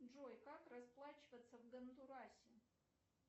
джой как расплачиваться в гондурасе